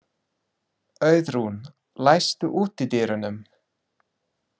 Auðrún, læstu útidyrunum.